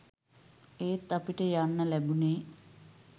එත් අපිට යන්න ලැබුනේ